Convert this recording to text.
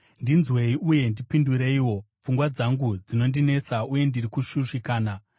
ndinzwei, uye ndipindureiwo. Pfungwa dzangu dzinondinetsa uye ndiri kushushikana,